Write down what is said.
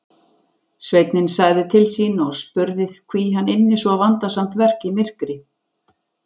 Sveinninn sagði til sín og spurði hví hann ynni svo vandasamt verk í myrkri.